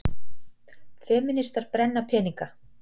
Femínistar brenna peninga